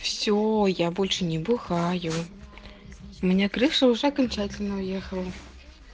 все я больше не бухаю у меня крыша уже окончательно уехала